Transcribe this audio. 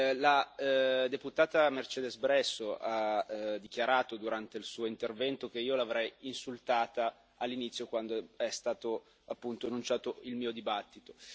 la deputata Mercedes Bresso ha dichiarato, durante il suo intervento, che io l'avrei insultata all'inizio, quando è stato appunto enunciato il mio dibattito.